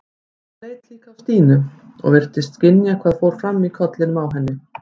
Hann leit líka á Stínu og virtist skynja hvað fór fram í kollinum á henni.